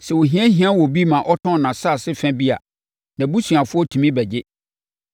“ ‘Sɛ ohia hia obi ma ɔtɔn nʼasase fa bi a, nʼabusuafoɔ tumi bɛgye.